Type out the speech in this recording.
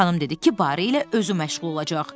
Xanım dedi ki, barı ilə özü məşğul olacaq.